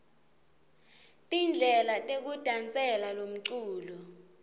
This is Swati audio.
tindlela tekudasela lomcuco